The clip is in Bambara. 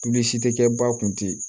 tɛ kɛ ba kun tɛ yen